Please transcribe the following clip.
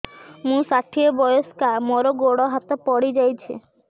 ମୁଁ ଷାଠିଏ ବୟସ୍କା ମୋର ଗୋଡ ହାତ ପଡିଯାଇଛି